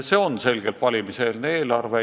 See on selgelt valimiseelne eelarve.